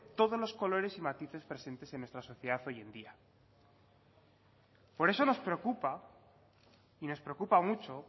todos los colores y matices presentes en nuestra sociedad hoy en día por eso nos preocupa y nos preocupa mucho